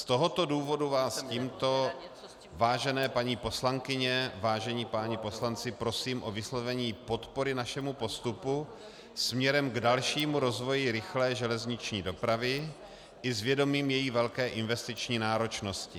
Z tohoto důvodu vás tímto, vážené paní poslankyně, vážení páni poslanci, prosím o vyslovení podpory našemu postupu směrem k dalšímu rozvoji rychlé železniční dopravy i s vědomím její velké investiční náročnosti.